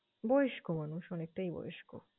বয়স্ক মানুষ, অনেকটাই বয়স্ক।